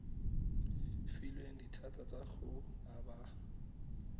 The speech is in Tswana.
filweng dithata tsa go aba